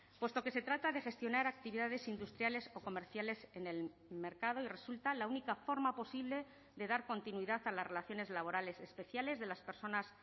puesto que se trata de gestionar actividades industriales o comerciales en el mercado y resulta la única forma posible de dar continuidad a las relaciones laborales especiales de las personas